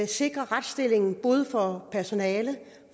sikre retsstillingen både for personalet